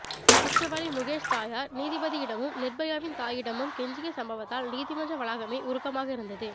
குற்றவாளி முகேஷ் தாயார் நீதிபதியிடமும் நிர்பயாவின் தாயிடமும் கெஞ்சிய சம்பவத்தால் நீதிமன்ற வளாகமே உருக்கமாக இருந்தது